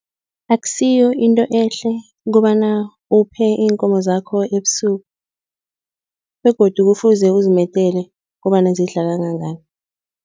Akusiyo into ehle kobana uphe iinkomo zakho ebusuku begodu kufuze uzimedele kobana zidla kangangani.